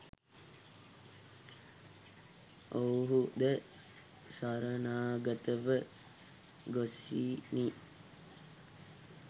ඔවුහු ද සරණාගත ව ගොසිණි